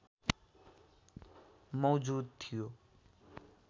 मौजुद थियो